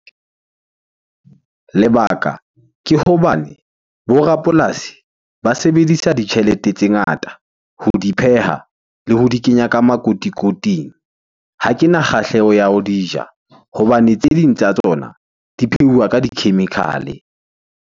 Lebaka ke hobane bo rapolasi ba sebedisa ditjhelete tse ngata ho di pheha le ho di kenya ka makotikoting. Ha kena kgahleho ya ho di ja hobane tse ding tsa tsona di pheuwa ka di-chemical-e.